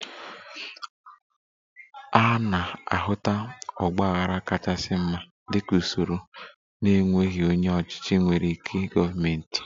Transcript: A na-ahụta ọgba aghara kachasị mma dị ka usoro na-enweghị onye ọchịchị nwere ikike gọọmentị